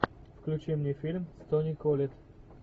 включи мне фильм с тони коллетт